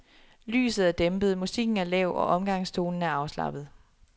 Lyset er dæmpet, musikken er lav og omgangstonen er afslappet.